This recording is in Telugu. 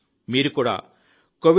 మీరు కూడా covidwarriors